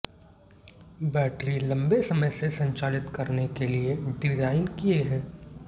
battery लंबे समय से संचालित करने के लिए डिजाइन किए हैं